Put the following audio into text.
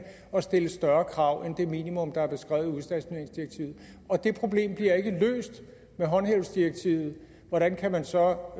at stille større krav end det minimum der er beskrevet i udstationeringsdirektivet og det problem bliver ikke løst med håndhævelsesdirektivet hvordan kan man så